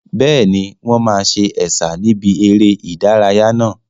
Bẹ́ẹ̀ni, wọn máa sa Ẹ̀sà níbi eré ìdárayá náà.